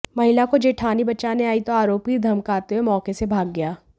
महिला को जेठानी बचाने आई तो आरोपी धमकाते हुए मौके से भाग गया